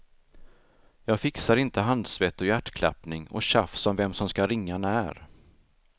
Jag fixar inte handsvett och hjärtklappning och tjafs om vem som ska ringa när.